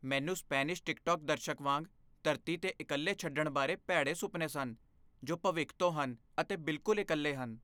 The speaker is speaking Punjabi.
ਮੈਨੂੰ ਸਪੈਨਿਸ਼ ਟਿੱਕਟੋਕ ਦਰਸ਼ਕ ਵਾਂਗ ਧਰਤੀ 'ਤੇ ਇਕੱਲੇ ਛੱਡਣ ਬਾਰੇ ਭੈੜੇ ਸੁਪਨੇ ਸਨ, ਜੋ ਭਵਿੱਖ ਤੋਂ ਹਨ ਅਤੇ ਬਿਲਕੁਲ ਇਕੱਲੇ ਹਨ।